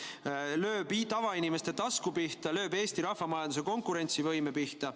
See lööb tavainimeste tasku pihta, lööb Eesti rahvamajanduse konkurentsivõime pihta.